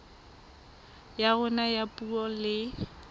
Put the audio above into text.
ya rona ya puo le